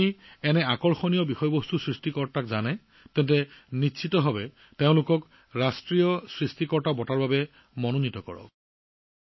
যদি আপুনি এনে আকৰ্ষণীয় কণ্টেণ্ট ক্ৰিয়েটৰক চিনি পায় তেন্তে তেওঁলোকক ৰাষ্ট্ৰীয় ক্ৰিয়েটৰ বঁটাৰ বাবে মনোনীত কৰক